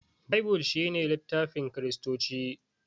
Baibul shine littafin kiristoci